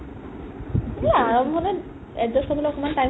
এই আৰম্ভণিত adjust কৰিব অকমান time